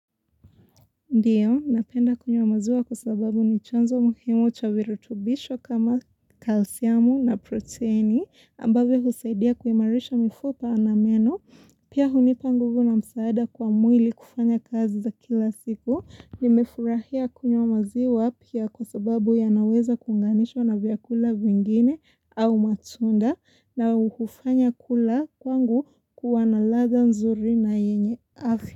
Ndiyo, napenda kunywa maziwa kwa sababu ni chanzo muhimu cha virutubisho kama kalsiamu na proteini, ambavyo husaidia kuimarisha mifupa na meno. Pia hunipa nguvu na msaada kwa mwili kufanya kazi za kila siku, nimefurahia kunywa maziwa pia kwa sababu yanaweza kuunganishwa na vyakula vingine au matunda na uhufanya kula kwangu kuwa naladha nzuri na yenye afya.